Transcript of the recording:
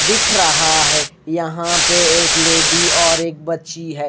दिख रहा है। यहां पे एक लेडीज और एक बच्ची है।